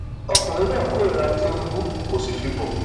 ọkùnrin náà kórìíra tìǹbù kó sì fi bọ